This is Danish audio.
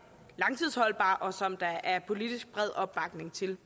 langtidsholdbar og som der er bred politisk opbakning til